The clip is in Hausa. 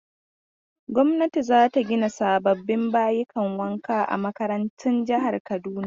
Gwamnati za ta gina sababbin bayukan wanka a makarantun jihar Kaduna.